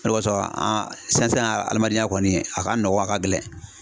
O de kosɔn sisan sisan adamadenya kɔni, a ka nɔgɔ a ka gɛlɛn.